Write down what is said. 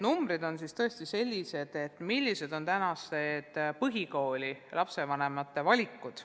Numbrid on tõesti sellised, mis näitavad tänaste põhikooliõpilaste vanemate valikuid.